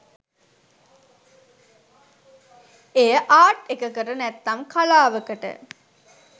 එය ආට් එකකට නැත්නම් කලාවකට